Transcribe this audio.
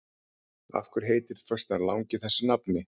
Af hverju heitir föstudagurinn langi þessu nafni?